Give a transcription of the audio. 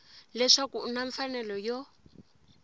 leswaku u na mfanelo yo